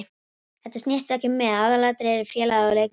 Þetta snýst ekki um mig, aðalatriðið er félagið og leikmennirnir.